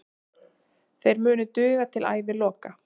Þeir munu duga til æviloka.